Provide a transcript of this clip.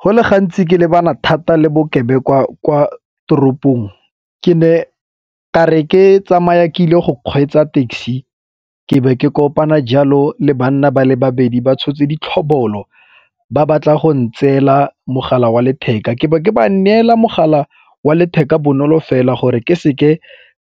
Go le gantsi ke lebana thata le bokebekwa kwa toropong ke ne ka re ke tsamaya ke ile go kgweetsa taxi ke be ke kopana jalo le banna ba le babedi ba tshotse di tlhobolo ba batla go ntseela mogala wa letheka, ke be ke ba neela mogala wa letheka bonolo fela gore ke seke